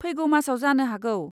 फैगौ मासआव जानो हागौ।